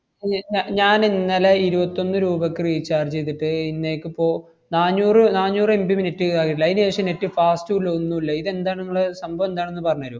ഞ്~ ഞ~ ഞാനിന്നലെ ഇരുവത്തൊന്ന് രൂപക്ക് recharge ചെയ്തിട്ട് ഇന്നേക്കിപ്പോ നാന്നൂറ് നാന്നൂറ് MB minute ഏ ആയുള്ളു. അതിനുശേഷം net fast ഊല്ല ഒന്നൂല്ല. ഇതെന്താണെന്നുള്ള സംഭവം ന്താണെന്ന് പറഞ്ഞു തര്വോ?